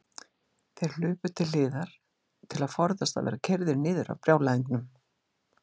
Þeir hlupu til hliðar til að forðast að verða keyrðir niður af brjálæðingnum.